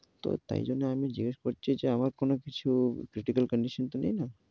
তো তাই জন্য আমি জিজ্ঞেস করছি যে, আমার কোনো কিছু critical condition তো নেই না?